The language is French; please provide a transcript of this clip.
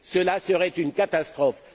Cela serait une catastrophe.